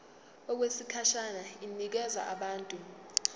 okwesikhashana inikezwa abantu